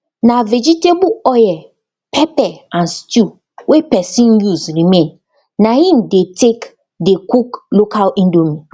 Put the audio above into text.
na vegetable oil pepper and stew wey pesin use remain na im dey take dey cook local indomie